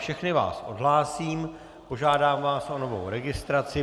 Všechny vás odhlásím, požádám vás o novou registraci.